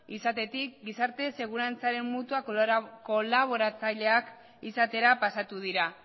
izatetik gizarte segurantzaren mutua kolaboratzaileak izatera pasatu dira